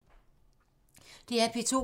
DR P2